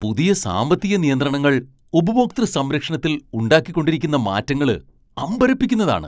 പുതിയ സാമ്പത്തിക നിയന്ത്രണങ്ങൾ ഉപഭോക്തൃ സംരക്ഷണത്തിൽ ഉണ്ടാക്കിക്കൊണ്ടിരിക്കുന്ന മാറ്റങ്ങള് അമ്പരപ്പിക്കുന്നതാണ്.